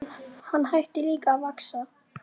Hann hætti líka að vaxa.